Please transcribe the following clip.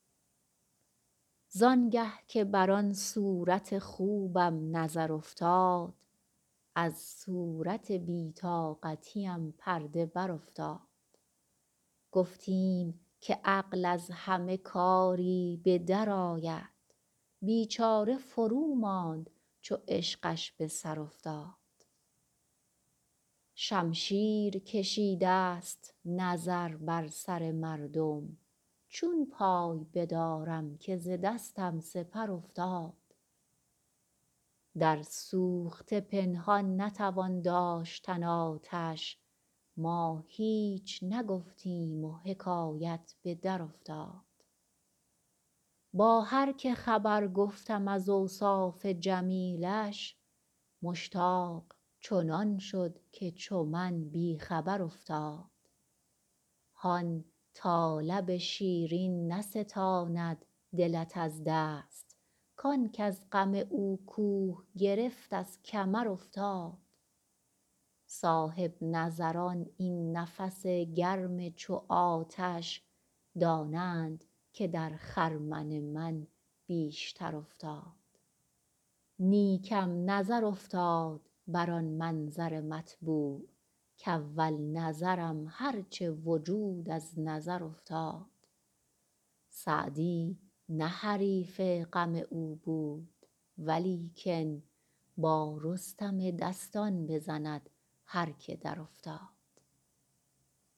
زان گه که بر آن صورت خوبم نظر افتاد از صورت بی طاقتیم پرده برافتاد گفتیم که عقل از همه کاری به درآید بیچاره فروماند چو عشقش به سر افتاد شمشیر کشیدست نظر بر سر مردم چون پای بدارم که ز دستم سپر افتاد در سوخته پنهان نتوان داشتن آتش ما هیچ نگفتیم و حکایت به درافتاد با هر که خبر گفتم از اوصاف جمیلش مشتاق چنان شد که چو من بی خبر افتاد هان تا لب شیرین نستاند دلت از دست کان کز غم او کوه گرفت از کمر افتاد صاحب نظران این نفس گرم چو آتش دانند که در خرمن من بیشتر افتاد نیکم نظر افتاد بر آن منظر مطبوع کاول نظرم هر چه وجود از نظر افتاد سعدی نه حریف غم او بود ولیکن با رستم دستان بزند هر که درافتاد